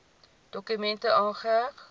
dokument aangeheg